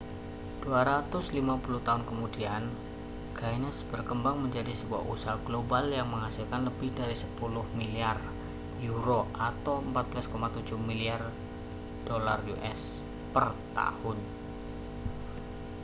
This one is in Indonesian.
250 tahun kemudian guinness berkembang menjadi sebuah usaha global yang menghasilkan lebih dari 10 miliar euro us$ 14,7 miliar per tahun